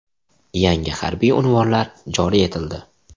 Yangi harbiy unvonlar joriy etildi.